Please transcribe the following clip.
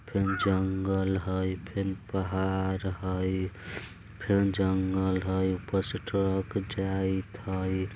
फेन जंगल हय फेन पहाड़ हय फेन जंगल हय ऊप्पर से ट्रक जाइत हय।